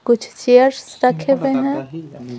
कुछ चेयर्स रखे हुए हैं ।